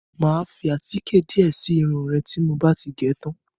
Mà á fi àtíkè díẹ̀ si irun re tí mo bá ti gẹ̀ tán.